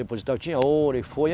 Depositar. Eu tinha ouro e foi.